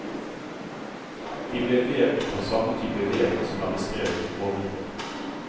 De ble vevd på samme type vev som er beskrevet ovenfor.